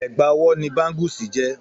Ègbà ọwọ́ ni báńgúsì jẹ́.